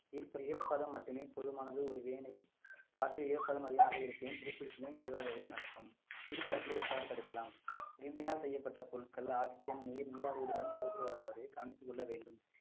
ஈர்~ ஈரப்பதம் மட்டுமே போதுமானது ஒரு வேளை காற்றில் ஈரப்பதம் அதிகமாக இருப்பின் துருப்பிடித்தலும் இதுவாகவே நடக்கும் துருப்பிடித்தலை எவ்வாறு தடுக்கலாம் இரும்பினால் செய்யப்பட்ட பொருட்கள் oxygen நீர் நீராவியுடன் கவனித்துக் கொள்ள வேண்டும்